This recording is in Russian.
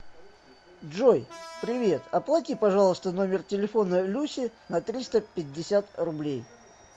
джой привет оплати пожалуйста номер телефона люси на триста пятьдесят рублей